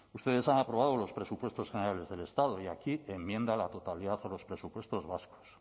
ustedes han aprobado los presupuestos generales del estado y aquí enmienda a la totalidad a los presupuestos vascos